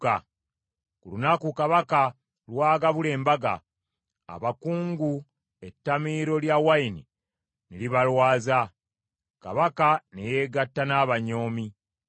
Ku lunaku kabaka lw’agabula embaga, abakungu ettamiiro lya wayini ne libalwaza, kabaka ne yeegatta n’abanyoomi.